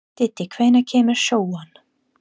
Diddi, hvenær kemur sjöan?